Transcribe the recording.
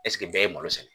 Ɛseke bɛɛ ye malo sɛnɛ